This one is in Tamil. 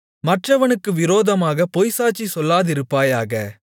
மற்றவனுக்கு விரோதமாகப் பொய்ச்சாட்சி சொல்லாதிருப்பாயாக